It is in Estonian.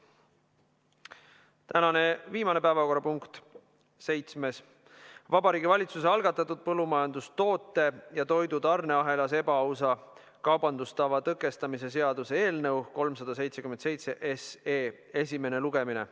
Tänane viimane päevakorrapunkt, seitsmes: Vabariigi Valitsuse algatatud põllumajandustoote ja toidu tarneahelas ebaausa kaubandustava tõkestamise seaduse eelnõu 377 esimene lugemine.